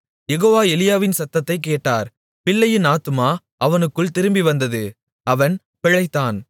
யெகோவா எலியாவின் சத்தத்தைக் கேட்டார் பிள்ளையின் ஆத்துமா அவனுக்குள் திரும்பிவந்தது அவன் பிழைத்தான்